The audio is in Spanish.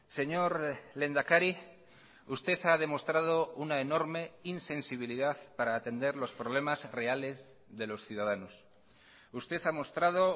señor lehendakari usted ha demostrado una enorme insensibilidad para atender los problemas reales de los ciudadanos usted ha mostrado